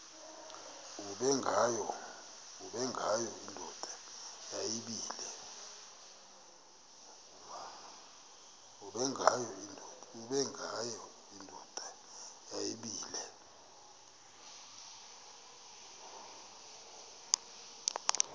ubengwayo indoda yayibile